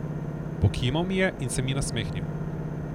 Pokimal mi je in se mi nasmehnil.